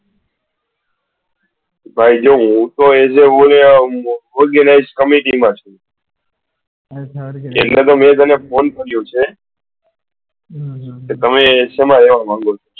ભાઈ જો હું તો as a organize committee માં છુ એટલે મેં તમે phone કર્યો છે કે તમે સેમા રેહવા માંગો છો?